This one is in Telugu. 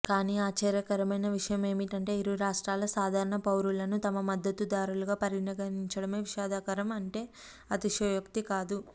కానీ ఆశ్చర్యకరమైన విషయమేమిటంటే ఇరు రాష్ట్రాల సాధారణ పౌరులను తమ మద్దతుదారులుగా పరిగణించడమే విషాదకరం అంటే అతిశయోక్తి కాదు